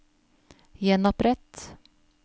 gjenopprett